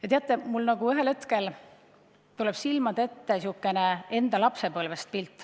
Ja teate, mulle tuli ühel hetkel silmade ette pilt enda lapsepõlvest.